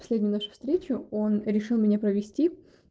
последнюю нашу встречу он решил меня провести